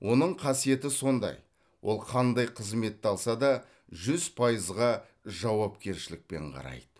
оның қасиеті сондай ол қандай қызметті алса да жүз пайызға жауапкершілікпен қарайды